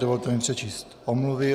Dovolte mi přečíst omluvy.